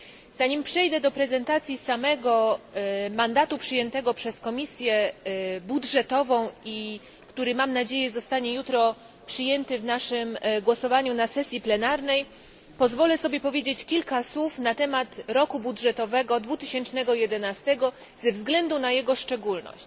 Zanim przejdę do prezentacji samego mandatu przyjętego przez Komisję Budżetową i który, mam nadzieję, zostanie jutro przyjęty w naszym głosowaniu na sesji plenarnej, pozwolę sobie powiedzieć kilka słów na temat roku budżetowego 2011 ze względu na jego szczególność.